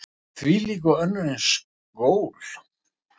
Og þvílík og önnur eins gól.